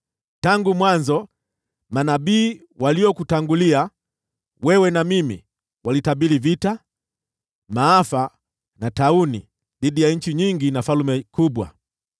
Tangu mwanzo, manabii waliokutangulia wewe na mimi walitabiri vita, maafa na tauni dhidi ya nchi nyingi na falme kubwa.